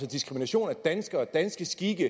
diskrimination af danskere af danske skikke